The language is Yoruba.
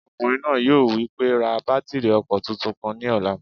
Ọkùnrin náà yóò wí pé "ra bátìrì ọkọ̀ tuntun kan ní ọ̀la!"